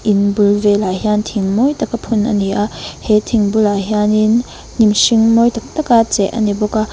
in bul velah hian thing mawi taka phun a ni a he thing bulah hianin hnim mawi tak tak a cheh a ni bawk a.